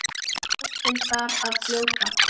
Boltinn þar að fljóta.